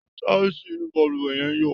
Tísìì inú baluwe yẹn ń yọ̀.